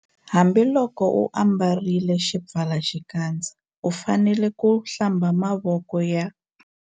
Hambiloko u ambarile xipfalaxikandza u fanele ku- Hlamba mavoko ya.